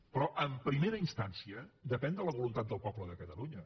però en primera instància depèn de la voluntat del poble de catalunya